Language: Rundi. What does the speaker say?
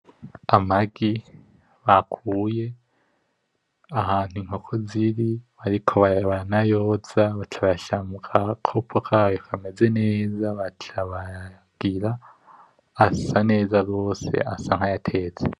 Amagi bakuye ahantu inkoko ziri baca baranoyoza bacayashira mugakopo kayo kameze neza, baca barayagira, asa neza gose asa nkaya tetse.